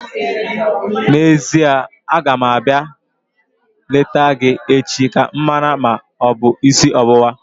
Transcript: N'ezie, aga m abịa leta gị echi ka m mara ma ọ bụ isi ọwụwa